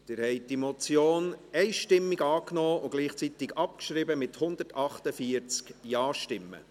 Sie haben die Motion einstimmig angenommen und gleichzeitig abgeschrieben, mit 148 JaStimmen.